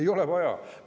Ei ole vaja!